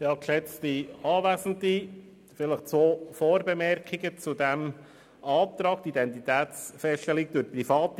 Zuerst zwei Vorbemerkungen zu diesem Antrag betreffend die Feststellung der Identität durch Private.